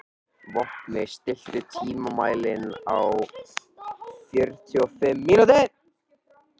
Vopni, stilltu tímamælinn á fjörutíu og fimm mínútur.